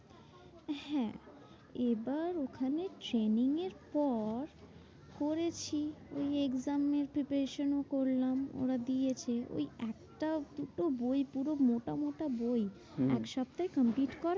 হ্যাঁ এবার ওখানে training এর পর করেছি ওই exam এর preparation ও করলাম। ওরা দিয়েছে ওই একটা দুটো বই পুরো মোটা মোটা বই হম হম এক সপ্তাহে complete করা